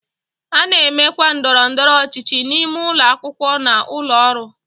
A na-emekwa ndọrọ ndọrọ ọchịchị n'ime ụlọ akwụkwọ na ụlọ ọrụ.